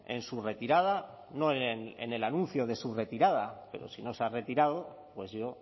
en su retirada no en el anuncio de su retirada pero si no se ha retirado pues yo